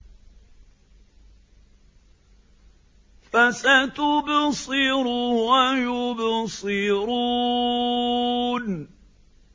فَسَتُبْصِرُ وَيُبْصِرُونَ